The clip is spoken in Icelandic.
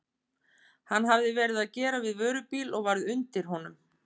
Hann hafði verið að gera við vörubíl og varð undir honum.